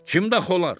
Kimdax olarlar?